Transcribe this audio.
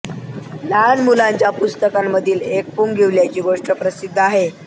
लहान मुलांच्या पुस्तकांमधील एक पुंगीवाल्याची गोष्ट प्रसिद्ध आहे